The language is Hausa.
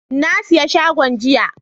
Na siya shagon jiya,